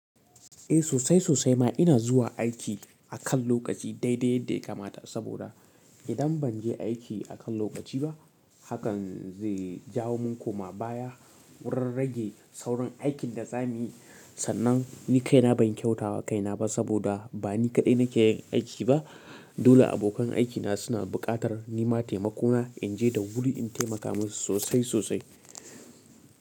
Eh sosai sosai ma ina zuwa aiki akan lokaci dai dai yadda ya kamata saboda idan banje aiki akan lokaci ba hakan zai jawo min koma baya wurin rage saurin aikinda zamuyi. Sannan ni kaina ban kyautawa kainaba saboda bani kaɗai nake yin aiki ba. Dole abokan aikina suna buƙatar nima taimakona inje da wuri in taimaka musu sosai sosai.